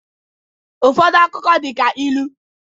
Ụfọdụ akụkọ dị ka ilu